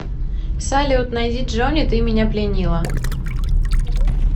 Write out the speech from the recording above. салют найди джони ты меня пленила